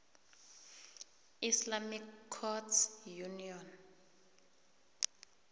islamic courts union